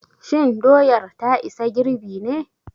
Shin doyar ta isa girɓi ne?